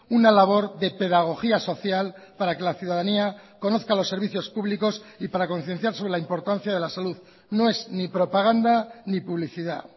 una labor de pedagogía social para que la ciudadanía conozca los servicios públicos y para concienciar sobre la importancia de la salud no es ni propaganda ni publicidad